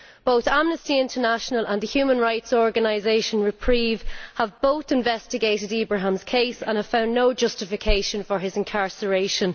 Both Amnesty International and the human rights organisation Reprieve have investigated Ibrahim's case and have found no justification for his incarceration.